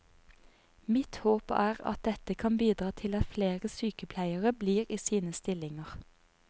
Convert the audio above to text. Mitt håp er at dette kan bidra til at flere sykepleiere blir i sine stillinger.